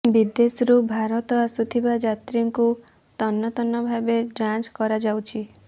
ବିଦେଶରୁ ଭାରତ ଆସୁଥିବା ଯାତ୍ରୀଙ୍କୁ ତନ୍ନତନ୍ନ ଭାବେ ଯାଞ୍ଚ କରାଯାଉଛି